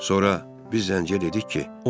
Sonra biz zənciyə dedik ki,